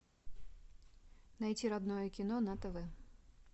найти родное кино на тв